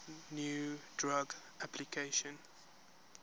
new drug application